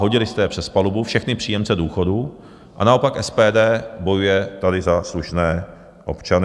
Hodili jste je přes palubu, všechny příjemce důchodů, a naopak SPD bojuje tady za slušné občany.